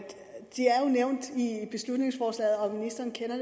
nævnt i beslutningsforslaget og ministeren kender